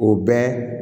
O bɛɛ